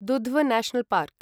Dudhwa National park